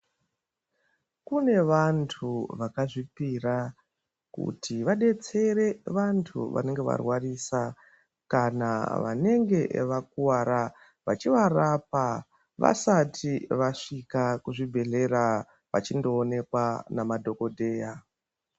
Kune vantu vakazvipira kuti vadetsere vantu vanenge varwarisa kana vanenge vakuvara vachivarapa vasati vasvika kuzvibhedhlera vachindoonekwa namadhokodheya.